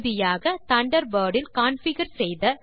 இறுதியாக தண்டர்பர்ட் இல் கான்ஃபிகர் செய்த